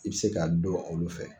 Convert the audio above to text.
I bɛ se k'a dɔn olu fɛ